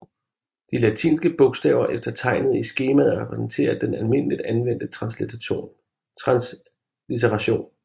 De latinske bogstaver efter tegnet i skemaet repræsenterer den almindeligt anvendte translitteration